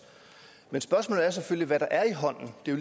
men spørgsmålet er selvfølgelig hvad der er i hånden det er